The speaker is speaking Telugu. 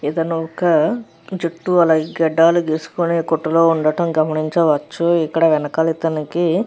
ఇతను ఒక జుట్టు అలాగే గడ్డాలు గీసుకునే కొట్టులో ఉండటం గమనించవచ్చు. ఇక్కడ వెనకాల ఇతనికి --